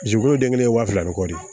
Jurukulu den kelen waa fila ni kɔ de ye